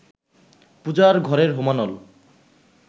পূজার ঘরের হোমানল